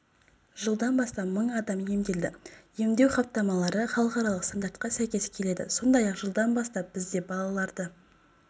жылдан бастап мың адам емделді емдеу хаттамалары халықаралық стандартқа сәйкес келеді сондай-ақ жылдан бастап бізде балаларды